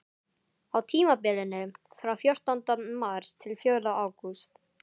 Á tímabilinu frá fjórtánda mars til fjórða ágúst.